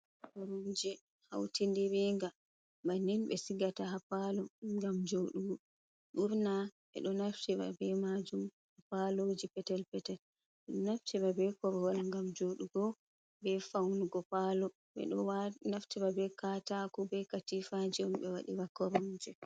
Koromji hauti ɗiringa, banin ɓe sigata haa paalo ngam jooɗugo, ɓurna ɓe ɗo naftira be maajum haa paloji petel petel, ɓe ɗo naftira bo be korwal ngam joɗugo, be faunugo paalo, ɓe ɗo naftira be katako, be katiifa, on waɗira koromje.